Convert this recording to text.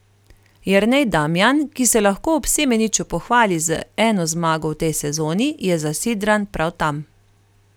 Jernej Damjan, ki se lahko ob Semeniču pohvali z eno zmago v tej sezoni, je zasidran prav tam.